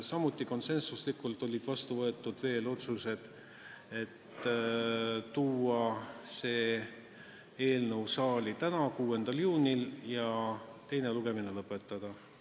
Samuti konsensusega võeti vastu otsused esitada see eelnõu saali tänaseks, 6. juuniks ja teha ettepanek teine lugemine lõpetada.